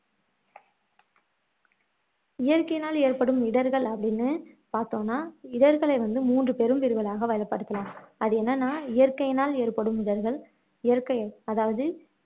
இயற்கையினால் எற்படும் இடர்கள் அப்படின்னு பார்த்தோம்னா இடர்களை வந்து மூன்று பெரும் பிரிவுகளாக வகைப்படுத்தலாம் அது என்னன்னா இயற்கையினால ஏற்படும் இடர்கள் இயற்கை அதாவது